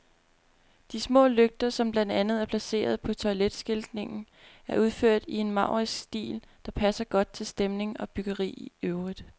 De små lygter, som blandt andet er placeret på toiletskiltningen, er udført i en maurisk stil, der passer godt til stemning og byggeri i øvrigt.